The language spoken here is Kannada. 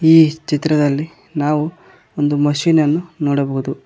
ಈ ಚಿತ್ರದಲ್ಲಿ ನಾವು ಒಂದು ಮಷೀನ್ ಅನ್ನು ನೋಡಬಹುದು.